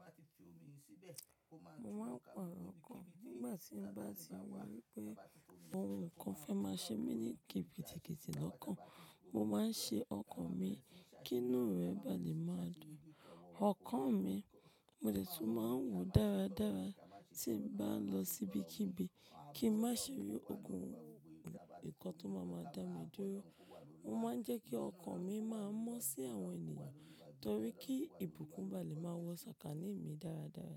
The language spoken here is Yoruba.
Mo máa ń paro ọkàn nígbà tí m bá ti wá ri wípé awon nkan fẹ́ máa ṣe mí ní kipi kiti lọ́kàn. Mo máa ń ṣe ọkàn mi kí inú rẹ bá lè máa dùn. Ọkàn mi mo lè tún máa ń wò dáradára tí bá ń lọ síbi kíbi kí má ṣe rí ogun nǹkan tó máa máa dá mi dúró. Mo máa ń jẹ́ kí ọkàn mi máa mọ́ sí àwọn ènìyàn torí kí ìbùkún bá lè máa wọ sọ̀kànní mi dáradára.